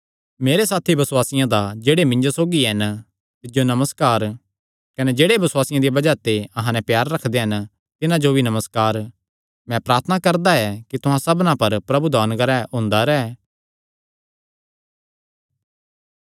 मेरे सारे साथी बसुआसियां दा जेह्ड़े मिन्जो सौगी हन तिज्जो नमस्कार कने जेह्ड़े बसुआसे दिया बज़ाह ते अहां नैं प्यार रखदे हन तिन्हां जो भी नमस्कार मैं प्रार्थना करदा ऐ कि तुहां सबना पर प्रभु दा अनुग्रह हुंदा रैंह्